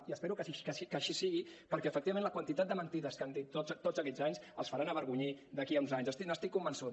i espero que així sigui perquè efectivament la quantitat de mentides que han dit tots aquests anys els faran avergonyir d’aquí a uns anys n’estic convençut